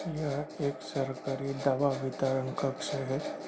यह एक सरकारी दवा वितरण कक्ष है।